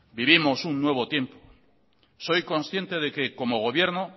vivimos un nuevo tiempo soy consciente de que como gobierno